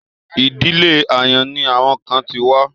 Ìdílé àyàn ni àwọn kan ti wá.